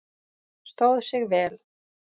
Stóð sig vel?